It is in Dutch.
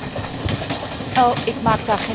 Ik maak daar geen enkel geheim van.